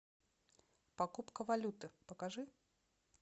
покупка валюты покажи